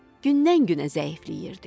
Gündən-günə zəifləyirdi.